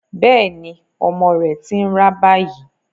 Bẹ́ẹ̀ ni, ọmọ rẹ̀ ti ń rá báyìí.